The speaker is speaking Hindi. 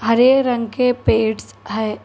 हरे रंग के पेडस है।